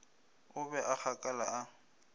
o be a gakala a